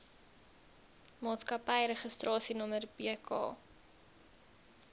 maatskappy registrasienommer bk